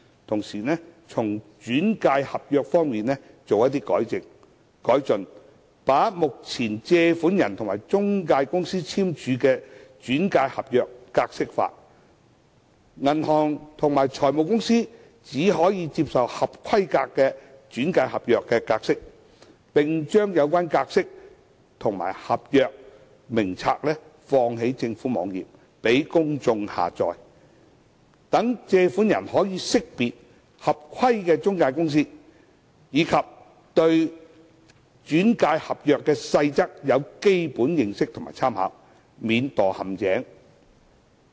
同時，在"轉介合約"方面亦可作出改善，把目前借款人和中介公司簽署的"轉介合約"格式化，銀行和財務公司只可以接受合規格的"轉介合約"格式，並將有關格式化的合約和名冊載列於政府網頁，供公眾下載，讓借款人識別合規的中介公司，以及對"轉介合約"的細則有基本認識及參考，免墮陷阱。